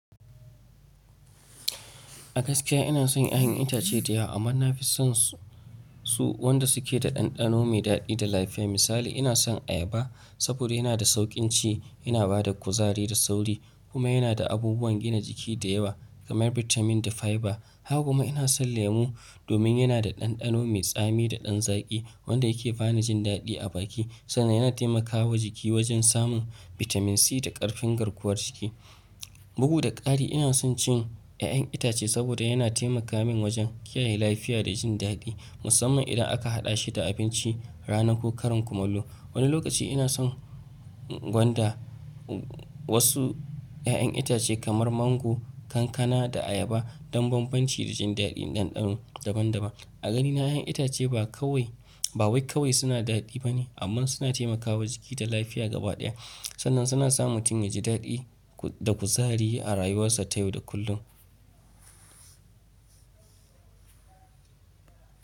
A gaskiya ina son yin yan itace da yawa, amma na fi son su wanda suke da ɗanɗano mai daɗi da lafiya. Misali, ina son ayaba saboda yana da sauƙin ci, yana ba da kuzari da sauri kuma yana da abubuwan gina jiki da yawa kamar bitamin da fiber. Haka kuma ina son lemu domin yana da ɗanɗano mai tsami da ɗan zaki wanda yake ba ni jin daɗi a baki sannan yana taimakawa jiki wajen samun bitamin C da ƙarfin garkuwar jiki. Bugu da ƙari, ina son cin ƴaƴan itace saboda yana taimaka min wajen kiyaye lafiya da jin daɗi, musamman idan aka haɗa shi da abinci ranar ko karin kumallo. Wani lokaci ina son gwanda wasu ƴaƴan itace kamar mango, kankana da ayaba don bambanci da jin daɗin ɗanɗano daban-daban. A ganina ya yan itace ba kawai, ba wai kawai suna daɗi ba ne, amma suna taimakawa jiki da lafiya gabaɗaya sannan suna sa mutum ya ji daɗi da kuzari a rayuwarsa ta yau da kullum.